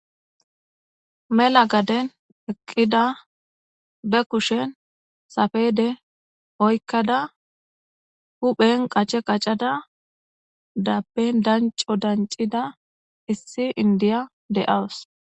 mela gaden eqqida be kushen safede oykkada huphen qace qaccada dappen danco dancida issi indiya de7aws